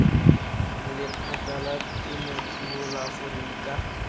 lephata la temothuo la aforika